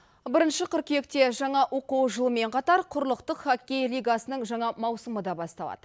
бірінші қыркүйекте жаңа оқу жылымен қатар құрлықтық хоккей лигасының жаңа маусымы да басталады